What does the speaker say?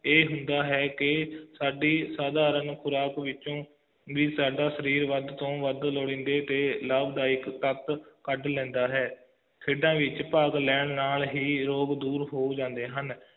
ਇਹ ਹੁੰਦਾ ਹੈ ਕਿ ਸਾਡੀ ਸਾਧਾਰਨ ਖੁਰਾਕ ਵਿਚੋਂ ਵੀ ਸਾਡਾ ਸਰੀਰ ਵੱਧ ਤੋਂ ਵੱਧ ਲੋੜੀਂਦੇ ਤੇ ਲਾਭਦਾਇਕ ਖਪਤ ਕੱਢ ਲੈਂਦਾ ਹੈ ਖੇਡਾਂ ਵਿਚ ਭਾਗ ਲੈਣ ਨਾਲ ਹੀ ਰੋਗ ਦੂਰ ਹੋ ਜਾਂਦੇ ਹਨ